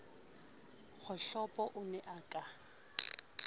kgohlopo o ne a ka